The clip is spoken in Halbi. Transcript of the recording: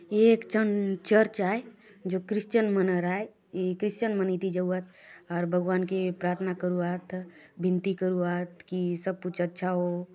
ये एक ठन चर्च आय जो क्रिस्चियन मनर आय ये क्रिस्चियन मन इति जाऊआत आउर भगवान के प्रार्थना करूआत विनती करुआत की सब कुछ अच्छा होवो।